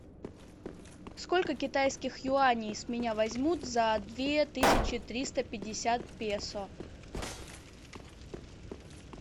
сколько китайских юаней с меня возьмут за две тысячи триста пятьдесят песо